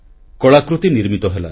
କଳାକୃତି ନିର୍ମିତ ହେଲା